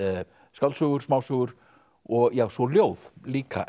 skáldsögur smásögur og svo ljóð líka